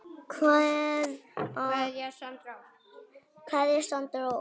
Kveðja Sandra Ósk.